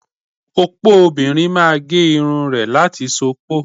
Opo obìnrin máa gé irun rẹ̀ láti ṣupọ́.